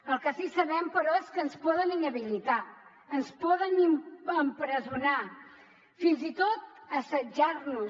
el que sí sabem però és que ens poden inhabilitar ens poden empresonar fins i tot assetjar nos